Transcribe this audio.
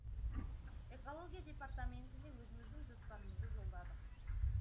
экология департаментіне өзіміздің жоспарымызды жолдадық